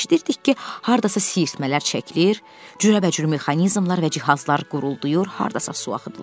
Eşidirdik ki, hardasa sirtmələr çəkilir, cürəbəcür mexanizmlər və cihazlar qurltuyur, hardasa su axıdılır.